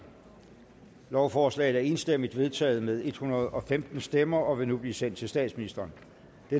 lovforslaget er enstemmigt vedtaget med en hundrede og femten stemmer og vil nu blive sendt til statsministeren